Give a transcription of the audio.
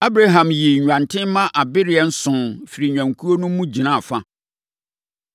Abraham yii nnwanten mma abereɛ nson firii nnwankuo no mu gyinaa fa.